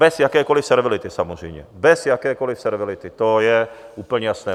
Bez jakékoliv servility, samozřejmě, bez jakékoliv servility, to je úplně jasné.